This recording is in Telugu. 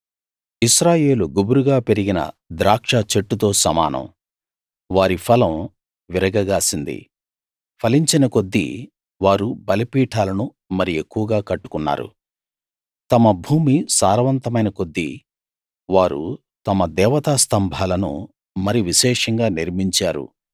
ఇశ్రాయేలు గుబురుగా పెరిగిన ద్రాక్ష చెట్టుతో సమానం వారి ఫలం విరగ గాసింది ఫలించినకొద్దీ వారు బలిపీఠాలను మరి ఎక్కువగా కట్టుకున్నారు తమ భూమి సారవంతమైన కొద్దీ వారు తమ దేవతా స్థంభాలను మరి విశేషంగా నిర్మించారు